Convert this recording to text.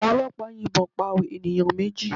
Àwọn ọlọ́pàá yìnbọn pa ènìyàn méjì